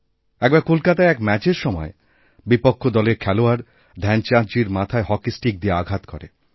এক বার কলকাতায় এক ম্যাচের সময় বিপক্ষ দলের খেলোয়াড়ধ্যানচাঁদজীর মাথায় হকি স্টিক দিয়ে আঘাত করে